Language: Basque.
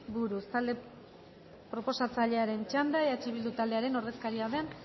buruz talde proposatzailearen txanda eh bildu taldearen ordezkaria den